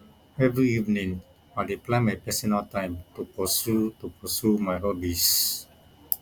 every evening i dey plan my personal time to pursue to pursue my hobbies